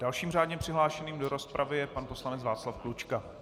Dalším řádně přihlášeným do rozpravy je pan poslanec Václav Klučka.